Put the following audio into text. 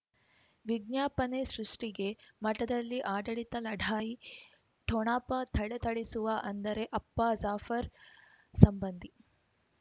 ವಿಜ್ಞಾಪನೆ ಸೃಷ್ಟಿಗೆ ಮಠದಲ್ಲಿ ಆಡಳಿತ ಲಢಾಯಿ ಠೊಣಪ ಥಳಥಳಿಸುವ ಅಂದರೆ ಅಪ್ಪ ಜಾಫರ್ ಸಂಬಂಧಿ